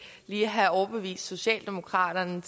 lige have overbevist socialdemokraterne